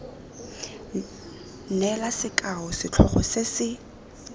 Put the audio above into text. neela sekao setlhogo se se